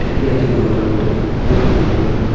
ঠিকই আছে মোটামোটি অনেক সুন্দর লাগলো।